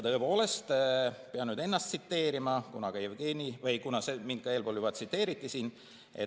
Tõepoolest, pean nüüd ennast tsiteerima, kuna mind juba eespool tsiteeriti.